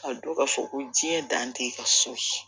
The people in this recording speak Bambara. Ka dɔn ka fɔ ko diɲɛ dan tɛ ka so ci